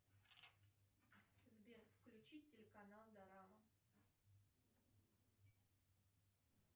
сбер включи телеканал дорама